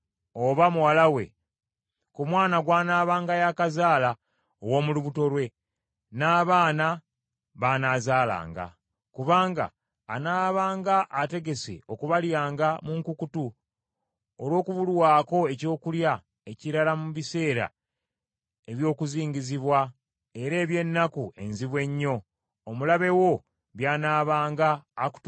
ku mwana gw’anaabanga y’akazaala ow’omu lubuto lwe, n’abaana b’anaazaalanga. Kubanga anaabanga ategese okubalyanga mu nkukutu olw’okubulwako ekyokulya ekirala mu biseera eby’okuzingizibwa era eby’ennaku enzibu ennyo, omulabe wo by’anaabanga akutuusizzaako mu bibuga byo.